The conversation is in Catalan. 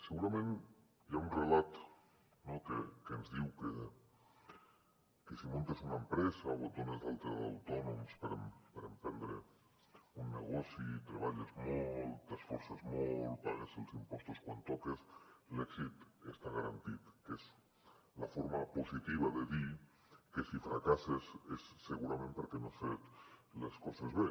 segurament hi ha un relat no que ens diu que si muntes una empresa o et dones d’alta d’autònoms per emprendre un negoci treballes molt t’esforces molt pagues els impostos quan toca l’èxit està garantit que és la forma positiva de dir que si fracasses és segurament perquè no has fet les coses bé